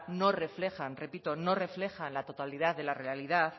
no reflejan repito no reflejan la totalidad de la realidad